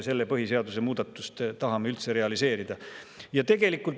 Selle põhiseadusemuudatuse realiseerimine võib saada meile kirstunaelaks.